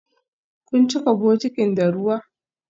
Kun cika bokitin da ruwa?